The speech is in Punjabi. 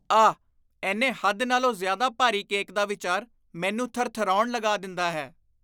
ਆਹ, ਇੰਨੇ ਹੱਦ ਨਾਲੋਂ ਜ਼ਿਆਦਾ ਭਾਰੀ ਕੇਕ ਦਾ ਵਿਚਾਰ ਮੈਨੂੰ ਥਰਥਰਾਉਣ ਲਗਾ ਦਿੰਦਾ ਹੈ।